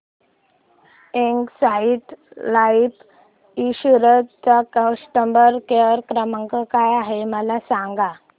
Exide life insurance चा customer care क्रमांक काय आहे मला सांगा